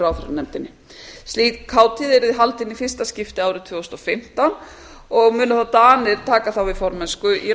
ráðherranefndinni slík hátíð yrði haldin í fyrsta skipti árið tvö þúsund og fimmtán og munu þá danir taka við ráðherramennsku í